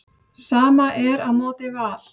Sama er á móti Val.